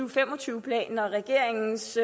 og fem og tyve planen og regeringens